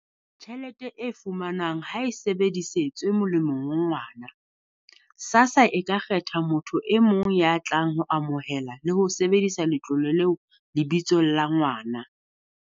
"tjhelete e fumanwang ha e sebedisetswe molemong wa ngwana, SASSA e ka kgetha motho e mong ya tlang ho amohela le ho sebedisa letlole leo lebitsong la ngwana."